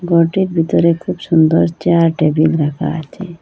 ঘরটির ভেতরে খুব সুন্দর চেয়ার টেবিল রাখা আছে।